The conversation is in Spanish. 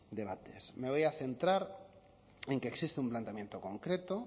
debates me voy a centrar en que existe un planteamiento concreto